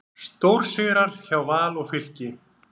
Stórsigrar hjá Val og Fylki